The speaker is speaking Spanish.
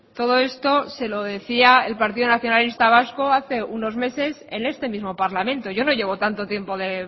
todo esto se lo decía el partido nacionalista vasco hace unos meses en este mismo parlamento yo no llevo tanto tiempo de